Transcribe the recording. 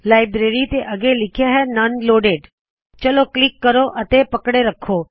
library ਤੋ ਅੱਗੇ ਲਿਖਿਆ ਹੈ ਨੋਨ ਲੋਡਿਡ ਚਲੋ ਕਲਿੱਕ ਕਰੋ ਅਤੇ ਪਕੜੇ ਰੱਖੋ